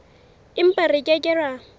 empa re ke ke ra